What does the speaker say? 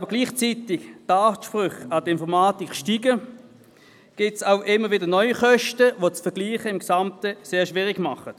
Weil die Ansprüche an die Informatik gleichzeitig steigen, gibt es immer wieder neue Kosten, sodass das Vergleichen gesamthaft wiederum schwierig wird.